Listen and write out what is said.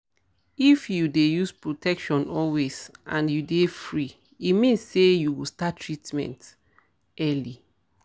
if tou dey use protection always and you dey free e mean say you go start treatment early